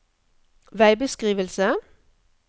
veibeskrivelse